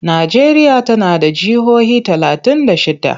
Najeriya tana da jihohi talatin da shidda.